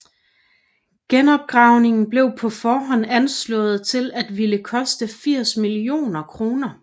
Genopgravningen blev på forhånd anslået til at ville koste 80 millioner kr